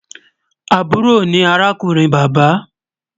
Àbúrò ni arákùnrin bàbá